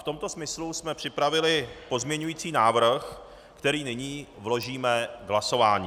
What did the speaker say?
V tomto smyslu jsme připravili pozměňující návrh, který nyní vložíme k hlasování.